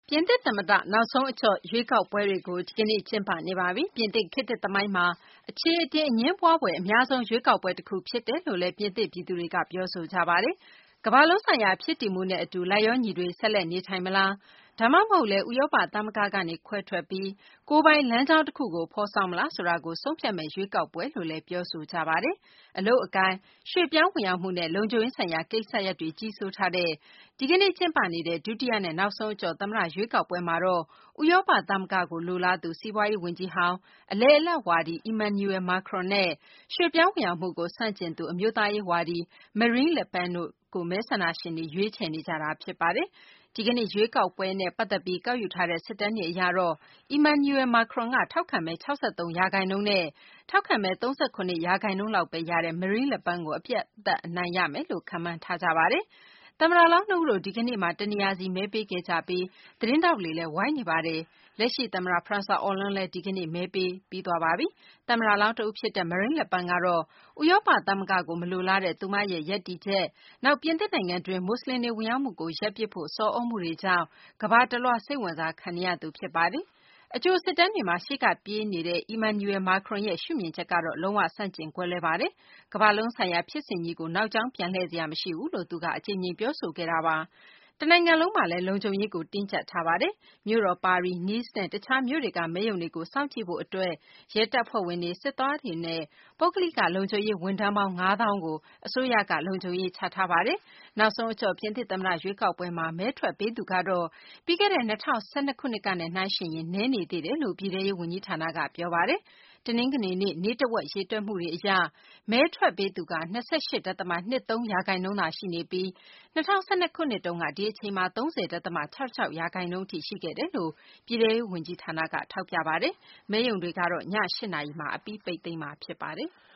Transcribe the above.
ပြင်သစ် သမ္မတ နောက်ဆုံး အကျော့ ရွေးကောက်ပွဲတွေကို ဒီကနေ့ ကျင်းပနေပါပြီ။ ပြင်သစ် ခေတ်သစ် သမိုင်းမှာ အခြေအတင် အငြင်းပွားဖွယ် အများဆုံး ရွေးကောက်ပွဲ တခု ဖြစ်တယ်လို့လည်း ပြင်သစ် ပြည်သူတွေက ပြောဆိုကြပါတယ်။ ကမ္ဘာလုံးဆိုင်ရာ ဖြစ်တည်မှုနဲ့ အတူ လိုက်လျောညီတွေ ဆက်လက် နေထိုင်မလား ဒါမှမဟုတ်လည်း ဥရောပ သမဂ္ဂကနေ ခွဲထွက်ပြီး ကိုယ်ပိုင်လမ်းကြောင်းတခုကို ဖော်ဆောင်မလားဆိုတာကို ဆုံးဖြတ်မယ့် ရွေးကောက်ပွဲလို့လည်း ပြောဆိုကြတာပါ။ အလုပ်အကိုင်၊ ရွှေ့ပြောင်းဝင်ရောက်မှုနဲ့ လုံခြုံရေးဆိုင်ရာ ကိစ္စရပ်တွေ ကြီးစိုးထားတဲ့ ဒီကနေ့ ကျင်းပနေတဲ့ ဒုတိယနဲ့ နောက်ဆုံး အကျော့ သမ္မတ ရွေးကောက်ပွဲမှာတော့ ဥရောပ သမဂ္ဂကို လိုလားသူ စီးပွားရေး ဝန်ကြီးဟောင်း အလယ်အလတ် ဝါဒီ Emmanuel Macron နဲ့ ရွှေ့ပြောင်းဝင်ရောက်မှုကို ဆန့်ကျင်သူ အမျိုးသားရေး ဝါဒီ Marine Le Pen တို့ကို မဲဆန္ဒရှင်တွေ ရွေးချယ်နေကြတာပါ။ ဒီကနေ့ ရွေးကောက်ပွဲနဲ့ ပတ်သက်ပြီး ကောက်ယူထားတဲ့ စစ်တမ်းတွေ အရတော့ Emmanuel Macronက ထောက်ခံမဲ ၆၃ ရာခိုင်နှုန်းနဲ့ ထောက်ခံမဲ ၃၇ ရာခိုင်နှုန်းလောက်ဘဲ ရတဲ့ Mareine Le Pen ကို ပြတ်ပြတ်သားသား အနိုင်ရမယ်လို့ ခန့်မှန်းထားကြတာပါ။ သမ္မတလောင်း နှစ်ဦးတို့ ဒီကနေ့မှာ တနေရာစီ မဲပေးခဲ့ကြပြီး သတင်းထောက်တွေလည်း ဝိုင်းနေပါတယ်။ လက်ရှိ သမ္မတ Francois Hollande လည်း ဒီကနေ့ မဲပေးခဲ့ပါတယ်။ သမ္မတလောင်း တဦး ဖြစ်တဲ့ Mareine Le Pen ကတော့ ဥရောပ သမဂ္ဂကို မလိုလားတဲ့ သူမရဲ့ ရပ်တည်ချက်၊ နောက် ပြင်သစ်နိုင်ငံတွင်း မူဆလင်တွေ ဝင်ရောက်မှုကို ရပ်ပစ်ဖို့ ဆော်သြမှုတွေကြောင့် ကမ္ဘာ့တလွှား စိတ်ဝင်စားခံနေရသူ ဖြစ်ပါတယ်။ အကြိုစစ်တမ်းတွေမှာ ရှေ့က ပြေးနေတဲ့ Emmanuel Macron ရဲ့ ရှုမြင်ချက်က လုံး၀ ဆန့်ကျင် ကွဲလွဲပါတယ်။ ကမ္ဘာ့လုံးဆိုင်ရာ ဖြစ်စဉ်ကြီးကို နောက်ကြောင်းပြန်လှည့် စရာ မရှိဘူးလို့ သူက အကြိမ်ကြိမ် ပြောခဲ့တာပါ။ တနိုင်ငံလုံးမှာလည်း လုံခြုံရေးကို တင်းကြပ်ထားပါတယ်။ မြို့တော် ပါရီ၊ Nice နဲ့ တခြားမြို့တွေက မဲရုံတွေကို စောင့်ကြည့်ဖို့ အတွက် ရဲတပ်ဖွဲ့ဝင်တွေ၊ စစ်သားတွေနဲ့ ပုဂ္ဂလိက လုံခြုံရေး ဝန်ထမ်းပေါင်း ၅ သောင်းကို အစိုးရက လုံခြုံရေး ချထားပါတယ်။ နာက်ဆုံး အကျော့ ပြင်သစ် သမ္မတ ရွေးကောက်ပွဲမှာ မဲထွက်ပေးသူကတော့ ပြီးခဲ့တဲ့ ၂၀၁၂ ခုနှစ်ကနဲ့ နှိုင်းယှဉ်ရင် နည်းနေတယ်လို့ ပြည်ထဲရေး ဝန်ကြီးဌာနက ပြောပါတယ်။ တနင်္ဂနွေနေ့ နေ့တဝက် ရေတွက်မှုတွေ အရ မဲထွက်ပေးသူ ၂၈ ဒသမ ၂၃ ရာခိုင်နှုန်းသာ ရှိနေပြီး ၂၀၁၂ ခုနှစ်တုန်းက ဒီအချိန်မှာ ၃၀ ဒသမ ၆၆ ရာခိုင်နှုန်း အထိ ရှိခဲ့တယ်လို့ ပြည်ထဲရေး ဝန်ကြီးဌာနက ထောက်ပြတာပါ။ မဲရုံတွေကိုတော့ ည ၈ နာရီမှာ အပြီး ပိတ်သိမ်းမှာ ဖြစ်ပါတယ်။